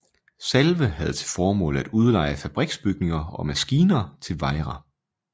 Salve havde til formål at udleje fabriksbygninger og maskiner til Wejra